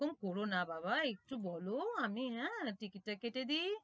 এরকম করোনা বাবা একটু বলো আমি হ্যাঁ ticket টা কেটেদি